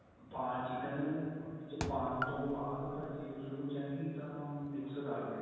ਪਾ chicken ਉਹਦੇ ਚ ਪਾਣ ਤੋਂ ਬਾਅਦ ਭਾਜੀ ਉਸ ਨੂੰ ਚੰਗੀ ਤਰ੍ਹਾਂ mix ਕ਼ਰ ਲਿਓ